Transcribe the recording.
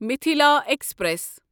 Mithila express